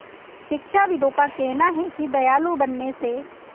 शिक्षाविदों का कहना है कि दयालु बनने से